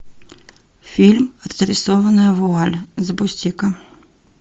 фильм разрисованная вуаль запусти ка